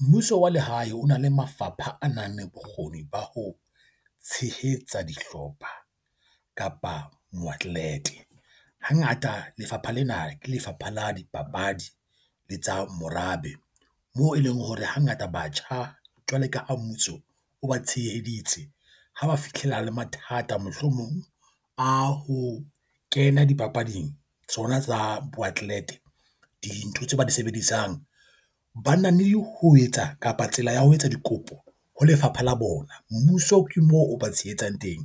Mmuso wa lehae o na le mafapha a nang le bokgoni ba ho tshehetsa dihlopha kapa moatlete. Hangata lefapha lena ke Lefapha la Dipapadi le tsa morabe, moo e leng hore hangata batjha jwale ka a mmuso o ba tsheheditse ha ba fitlhela le mathata mohlomong a ho kena dipapading tsona tsa booklet . Dintho tseo ba di sebedisang banana mme le ho etsa kapa tsela ya ho etsa dikopo ho lefapha la bona. Mmuso ke moo o ba tshehetsang teng